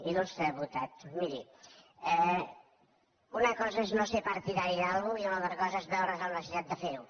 il·lustre diputat miri una cosa és no ser partidari d’alguna cosa i una altra cosa és veure’s amb la necessitat de fer ho